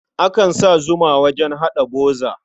Akan sa zuma wajen haɗa buza.